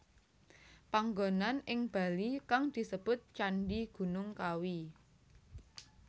Panggonan ing Bali kang disebut Candhi Gunung Kawi